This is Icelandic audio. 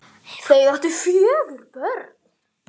Þau áttu fjögur börn